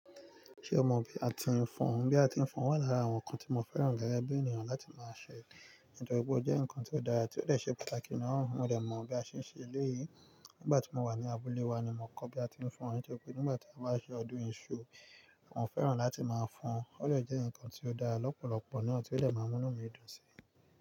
Ṣé o mọ bí a ti ń fọn? Bí a ti ń fọn wà lára àwọn ǹkan tí mo fẹ́ràn gẹ́gẹ́ bí ènìyàn láti máa ṣẹ. Nítorí pé ó jẹ́ ǹkan tí ó dára, tí ó dẹ ṣe pàtàkì ní ọ̀wọ́n, mo dẹ̀ mọ̀ bí a ṣe ń ṣe é léyìi. Nígbà tí mo wà ní abúlé wa ni mo kọ́ bí a ti ń fọn, nítorí pé nígbà tí a bá ṣe ọdún iṣu, àwọn fẹ́ràn láti máa fọn. Ó dẹ jẹ́ ǹkan tí ó dára lọ́pọ̀lọpọ̀ náà tí ó lè máa mú inú mi dùn sí i.